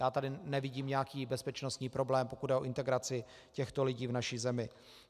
Já tady nevidím nějaký bezpečnostní problém, pokud jde o integraci těchto lidí v naší zemi.